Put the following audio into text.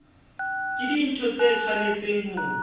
ke dintho tse tshwanetseng ho